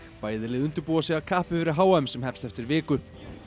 bæði lið undirbúa sig af kappi fyrir h m sem hefst eftir viku